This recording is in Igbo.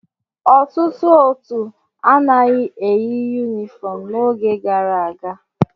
Ọtụtụ òtù anaghị eyi yunifọm n'oge gara aga.